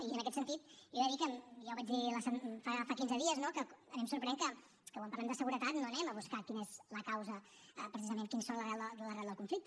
i en aquest sentit jo he de dir i ja ho vaig dir fa quinze dies que a mi em sorprèn que quan parlem de seguretat no anem a buscar quina és la causa precisament quina és l’arrel del conflicte